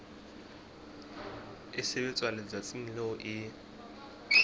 e sebetswa letsatsing leo e